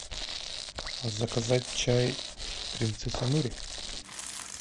заказать чай принцесса нури